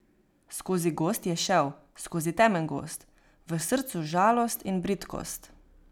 Skozi gozd je šel, skozi temen gozd, v srcu žalost in bridkost...